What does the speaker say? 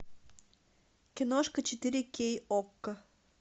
киношка четыре кей окко